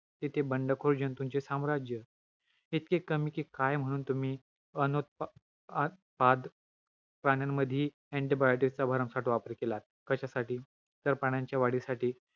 आहार रस उष्णगुणात्मक आहार रसाचे रूपांतर सुषमती सुपुत्व सप्त धातूच्या अंनशानुयुक्त सारव मास आहारा रसा मध्ये होते.